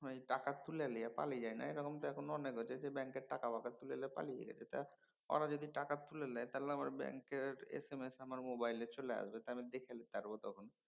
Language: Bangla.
টাকা তুলে লিয়ে পালিয়ে যায়না এরকম এখন অনেক হয়েছে। ব্যাঙ্কের টাকা ওয়াকা তুলে লিয়ে পালিয়ে যায় তো ওরা যদি টাকা তুলে লেয় আমার ব্যাঙ্কের এস এম এস আমার মোবাইলে চলে আসবে। আমি দেখে লিতারব তখন।